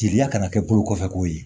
Jeliya kana kɛ bolo kɔfɛko ye